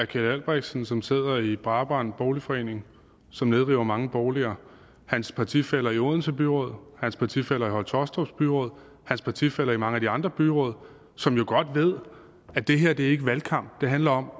keld albrechtsen som sidder i brabrand boligforening som nedriver mange boliger hans partifæller i odense byråd hans partifæller i høje taastrup byråd hans partifæller i mange af de andre byråd som jo godt ved at det her ikke er valgkamp det handler om